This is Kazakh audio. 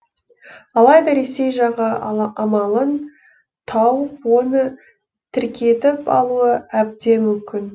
алайда ресей жағы амалын тауып оны тіркетіп алуы әбден мүмкін